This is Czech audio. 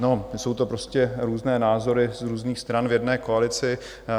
No, jsou to prostě různé názory z různých stran v jedné koalici.